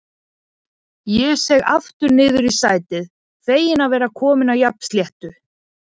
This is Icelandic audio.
Ég seig aftur niður á sætið, feginn að vera kominn á jafnsléttu.